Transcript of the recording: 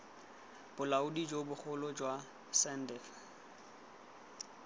bolaodi jo bogolo jwa sandf